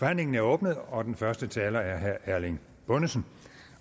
forhandlingen er åbnet og den første taler er herre erling bonnesen